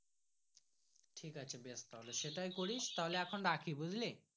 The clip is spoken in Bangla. ঠিক আছে বেশ তাহলে সেটাই করিস তাহলে এখন রাখি বুজলি।